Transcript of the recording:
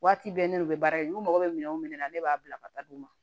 Waati bɛɛ ne n'u bɛ baara kɛ n'u mako bɛ minɛn o minɛn na ne b'a bila ka taa di u ma